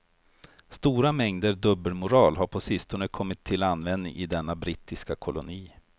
Stora mängder dubbelmoral har på sistone kommit till användning i denna brittiska koloni.